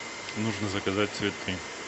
нужно заказать цветы